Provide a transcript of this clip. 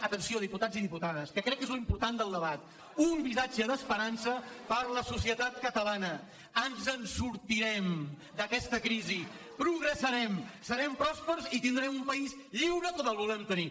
atenció diputats i diputades que crec que és l’important del debat un missatge d’es·perança per a la societat catalana ens en sortirem d’aquesta crisi progressarem serem pròspers i tin·drem un país lliure com el volem tenir